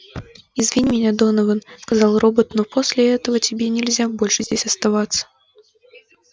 извини меня донован сказал робот но после этого тебе нельзя больше здесь оставаться